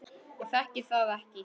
Ég þekki það ekki.